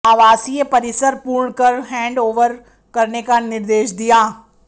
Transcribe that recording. आवासीय परिसर पूर्ण कर हैंड ओवर करने का निर्देश दिया